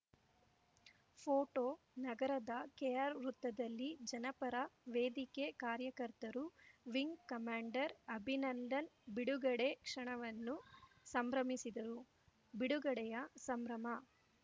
photo ನಗರದ ಕೆಆರ್‌ವೃತ್ತದಲ್ಲಿ ಜನಪರ ವೇದಿಕೆ ಕಾರ್ಯಕರ್ತರು ವಿಂಗ್‌ ಕಮಾಂಡರ್‌ ಅಭಿನಂದನ್‌ ಬಿಡುಗಡೆ ಕ್ಷಣವನ್ನು ಸಂಭ್ರಮಿಸಿದರು ಬಿಡುಗಡೆಯ ಸಂಭ್ರಮ